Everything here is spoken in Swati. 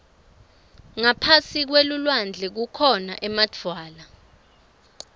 ngaphasi kwelulwandle kukhona emadvwala